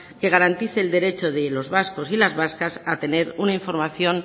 que garantice los derechos de los vascos y las vascas a tener una información